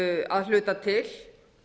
að hluta til